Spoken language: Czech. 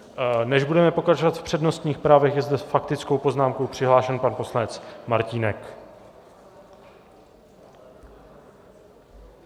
Než budeme pokračovat v přednostních právech, je zde s faktickou poznámkou přihlášen pan poslanec Martínek.